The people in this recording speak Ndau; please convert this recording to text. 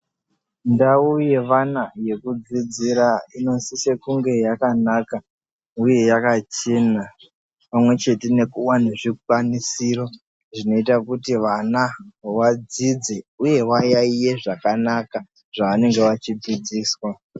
Ndau yevana yekudzidzira inosise kunge yakanaka, uye yakachena pamwe chete nekuva nezvikwanisiro zvinoita kuti vana vadzidze, uye vayaiye zvakanaka zvavanenge vachidzidziswa.